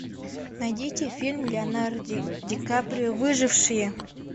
найдите фильм леонардо ди каприо выжившие